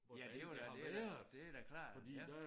Ja det jo da det det da klart ja